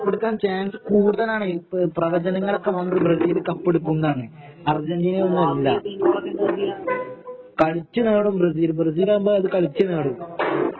കപ്പെടുക്കാന് chance കൂടുതലാണ് പ്രവചനങ്ങളൊക്കെ വന്നത് ബ്രസീല് കപ്പെടുക്കുന്നാണ് അർജന്റീന ഒന്നും അല്ല കളിച്ചു നേടും ബ്രസീൽ ബ്രസീലാകുമ്പോ കളിച്ചു നേടും